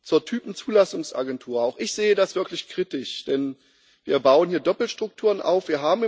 Zur Typzulassungsagentur Auch ich sehe das wirklich kritisch, denn wir bauen hier Doppelstrukturen auf.